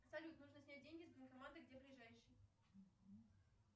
салют нужно снять деньги с банкомата где ближайший